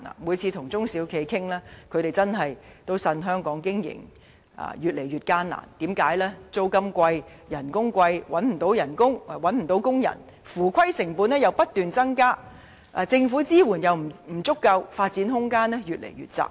每次與中小企經營者見面時，他們也向我反映在香港經營越益艱難，因為租金貴、工資貴，又難以聘請員工，且合規成本又不斷增加，再加上政府支援不足，令發展空間越見狹窄。